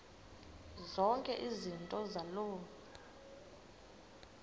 zonke izinto zaloo